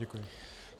Děkuji.